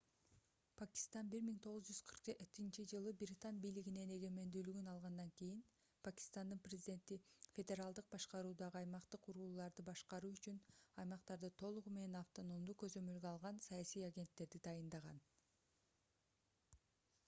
пакистан 1947-жылы британ бийлигинен эгемендүүлүгүн алгандан кийин пакистандын президенти федералдык башкаруудагы аймактык урууларды башкаруу үчүн аймактарды толугу менен автономдуу көзөмөлгө алган саясий агенттерди дайындаган